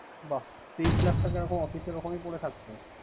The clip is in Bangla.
বাহ তেইশ লাখ এখন office র ওখানেই পরে থাকবে।